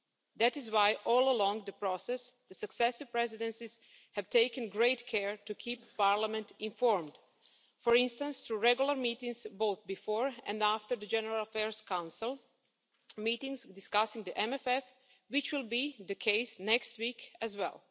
That is why, all along the process, the successive presidencies have taken great care to keep Parliament informed, for instance, through regular meetings both before and after the General Affairs Council meetings discussing the MFF, which will be the case next week as well.